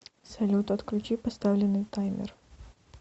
салют отключи поставленный таймер